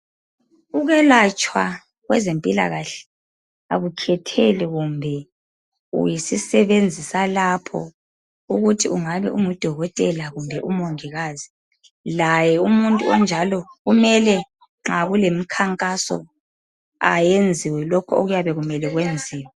Akwelatshwa kwezemphilakahle akukhetheli kumbeuyisisebenzi salapho ukuthi ngudokotela kumbe ngumungikazi, laye umuntu onjalokumele nxa kulemikhankaso ayenziwe lokho kuyabe kumele kuyenziwe.